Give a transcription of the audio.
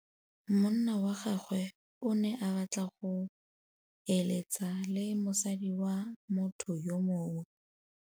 Monna wa gagwe o ne a batla go êlêtsa le mosadi wa motho yo mongwe.